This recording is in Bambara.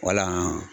Wala